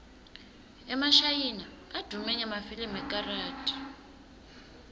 emashayina advume ngemafilimu ekarathi